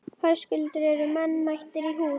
Höskuldur, eru menn mættir í hús?